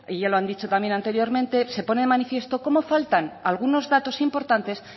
ya lo han dicho también anteriormente se pone de manifiesto cómo faltan algunos datos importantes